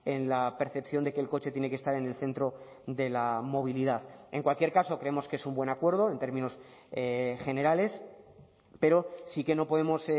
en la percepción de que el coche tiene que estar en el centro de la movilidad en cualquier caso creemos que es un buen acuerdo en términos generales pero sí que no podemos